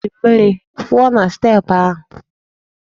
Ha ji mmiri wụọ na steepụ ahụ.